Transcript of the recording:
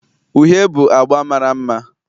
Uhie bụ agba mara mma